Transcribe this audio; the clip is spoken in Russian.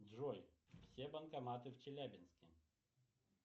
джой все банкоматы в челябинске